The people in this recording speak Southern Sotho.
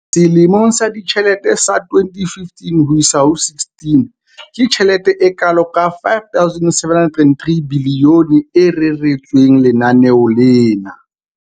Selemong sa ditjhelete sa 2015-16, ke tjhelete e kalo ka R5 703 bilione e reretsweng lenaneo lena.